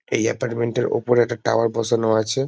এই এপার্টমেন্ট ওপরে একটা টাওয়ার বসানো আছে।